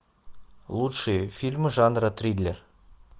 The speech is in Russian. лучшие фильмы жанра триллер